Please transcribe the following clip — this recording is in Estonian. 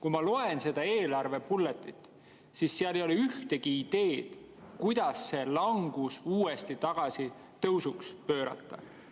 Kui ma loen seda eelarve bullet'it, siis seal ei ole ühtegi ideed, kuidas see langus uuesti tõusuks pöörata.